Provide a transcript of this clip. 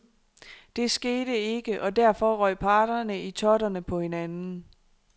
Det skete ikke, og derfor røg parterne i totterne på hinanden.